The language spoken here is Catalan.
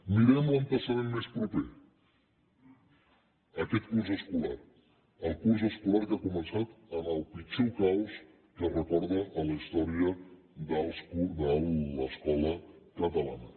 mirem l’antecedent més proper aquest curs escolar el curs escolar que ha començat amb el pitjor caos que es recorda a la història de l’escola catalana